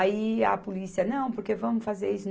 Aí a polícia, não, porque vamos fazer isso.